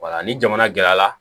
Wala ni jamana gɛrɛ la